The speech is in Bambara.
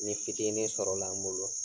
Ni fitinin sɔrɔla n bolo